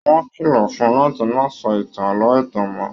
Wọn kìlọ fún-ùn láti má sọ ìtàn ààlọ́ ẹtan mọ.